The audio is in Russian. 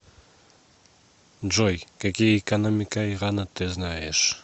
джой какие экономика ирана ты знаешь